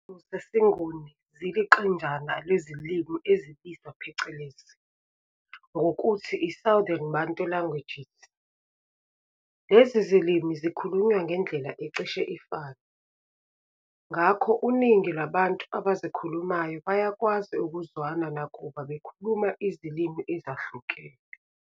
Izilimi zesiNguni ziliqenjana lwezilimi ezibizwa phecelezi ngokuthi i' Southern Bantu Languages'. Lezi zilimi zikhulunywa ngendlela ecishe ifane, ngakho uningi lwabantu abazikhulumayo bayakwazi ukuzwana nakuba bekhuluma izilimi ezahlukene.